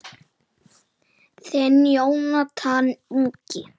Þinn Jónatan Ingi.